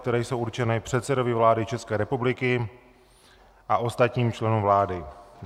které jsou určeny předsedovi vlády České republiky a ostatním členům vlády.